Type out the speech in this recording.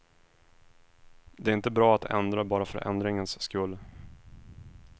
Det är inte bra att ändra bara för ändringens skull.